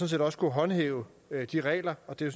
set også kunne håndhæve de regler og det